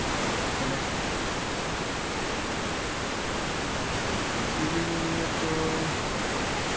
এনেছে? কৃষি bill নিয়ে তো